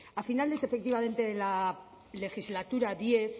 a finales efectivamente de la legislatura diez